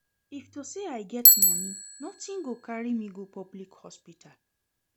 If to say I get money nothing go carry me go public hospital